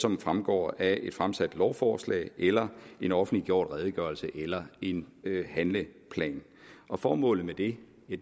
som fremgår af et fremsat lovforslag eller en offentliggjort redegørelse eller en handleplan formålet med det